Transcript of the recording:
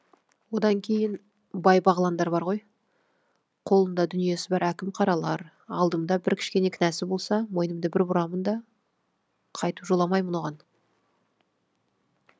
одан кейін бай бағландар бар ғой қолында дүниесі бар әкім қаралар алдымда бір кішкене кінәсі болса мойнымды бір бұрамын да қайтып жоламаймын оған